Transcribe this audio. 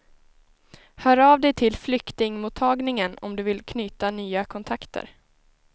Hör av dig till flyktingmottagningen om du vill knyta nya kontakter.